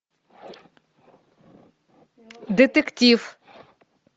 детектив